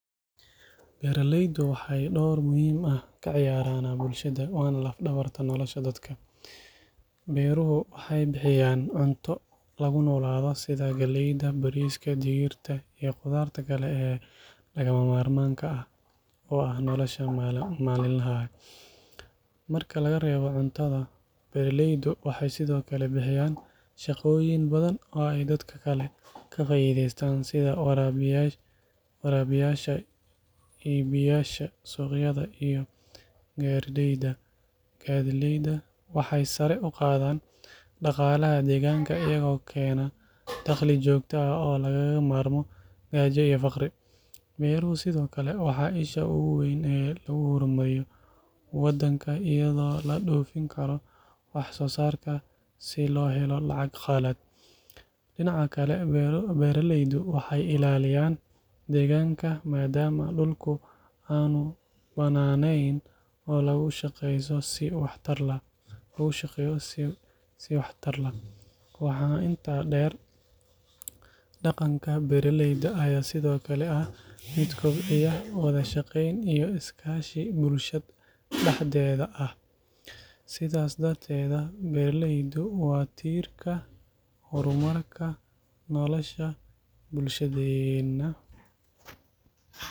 Beeraleyda waxeey door muhiim ah kaciyaartaa bulshada, waxeey bixiyaan cunto, nolosha malin laha ah, waxeey bixiyaan shaqa badan, sida warabiyasha, iyo garileyda, waxeey sare uqaadan daqalaha, waxeey lagu hor mariya dalka, beeraleyda waxeyy ilaliyaan deeganka, loogu shaqeeya si wax tar Lah, mid kordiya is kaashi bulsho dexdeeda, waa tiirka hor marka nolosha bulshadeena.